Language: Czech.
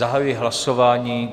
Zahajuji hlasování.